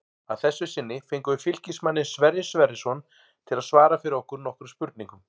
Að þessu sinni fengum við Fylkismanninn Sverrir Sverrisson til að svara fyrir okkur nokkrum spurningum.